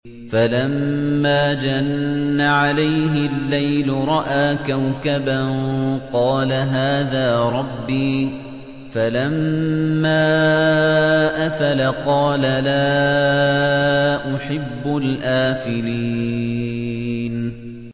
فَلَمَّا جَنَّ عَلَيْهِ اللَّيْلُ رَأَىٰ كَوْكَبًا ۖ قَالَ هَٰذَا رَبِّي ۖ فَلَمَّا أَفَلَ قَالَ لَا أُحِبُّ الْآفِلِينَ